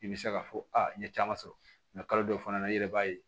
I bɛ se k'a fɔ aa n ye caman sɔrɔ kalo dɔw fana na i yɛrɛ b'a ye